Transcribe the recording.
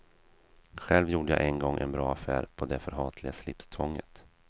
Själv gjorde jag en gång en bra affär på det förhatliga slipstvånget.